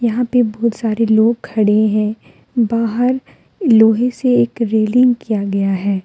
यहां पे बहुत सारे लोग खड़े हैं बाहर लोहे से एक रेलिंग किया गया है।